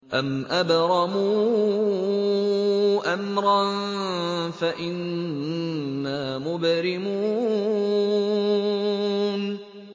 أَمْ أَبْرَمُوا أَمْرًا فَإِنَّا مُبْرِمُونَ